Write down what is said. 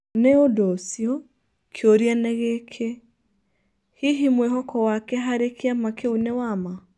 Nĩ ũndũ ũcio, kĩũria nĩ gĩkĩ: Hihi mwĩhoko wake harĩ kĩama kĩu nĩ wa ma?